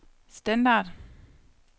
standard